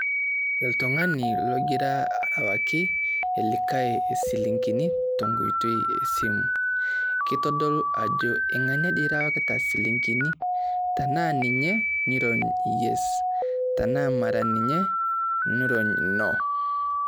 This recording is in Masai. Oltung'ani logira arewaki likai isilingini tenkoitoi esimu. Kitodulu ajo ing'ania dii irewakita silingini, tenaa ninye, niron yes tenaa mara ninye, niron no